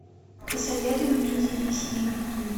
посоветуй мне дерись или беги